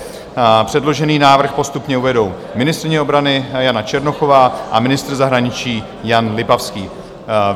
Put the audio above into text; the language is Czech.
Předložený návrh postupně uvedou ministryně obrany Jana Černochová a ministr zahraničí Jan Lipavský.